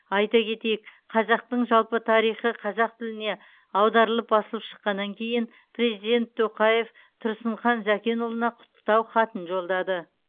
айта ктетйік қазақтың жалпы тарихы қазақ тіліне аударылып басылып шыққаннан кейін президент тоқаев тұрсынхан зәкенұлына құттықтау хатын жолдады